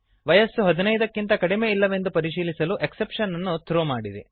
ವಯಸ್ಸು 15 ಕ್ಕಿಂತ ಕಡಿಮೆ ಇಲ್ಲವೆಂದು ಪರಿಶೀಲಿಸಲು ಎಕ್ಸೆಪ್ಶನ್ ಅನ್ನು ಥ್ರೋ ಮಾಡಿರಿ